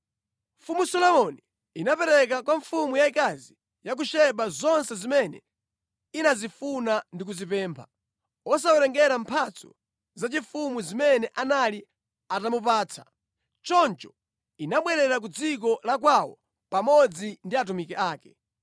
Mfumu Solomoni inapereka kwa mfumu yayikazi ya ku Seba zonse zimene inazifuna ndi kuzipempha, osawerengera mphatso zaufumu zimene anali atamupatsa. Choncho inabwerera ku dziko la kwawo pamodzi ndi atumiki ake.